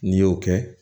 N'i y'o kɛ